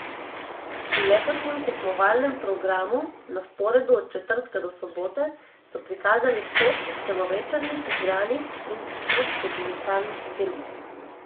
V letošnjem tekmovalnem programu, na sporedu od četrtka do sobote, so prikazali šest celovečernih igranih in šest dokumentarnih filmov.